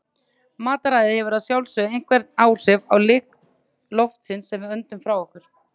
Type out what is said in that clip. Mataræði hefur að sjálfsögðu einhver áhrif á lykt loftsins sem við öndum frá okkur.